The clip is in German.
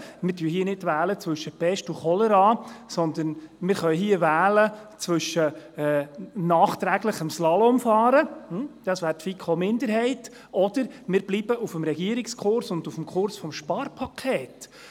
Wir wählen hier nicht zwischen Pest und Cholera, sondern wir können hier wählen zwischen nachträglichem Slalomfahren – das wäre die FiKo-Minderheit – oder wir bleiben auf dem Regierungskurs und auf dem Kurs des Sparpakets.